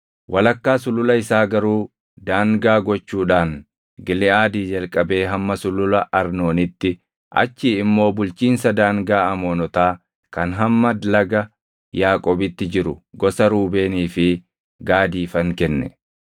Walakkaa sulula isaa garuu daangaa gochuudhaan Giliʼaadii jalqabee hamma Sulula Arnoonitti, achii immoo bulchiinsa daangaa Amoonotaa kan hamma laga Yaaboqitti jiru gosa Ruubeenii fi Gaadiifan kenne.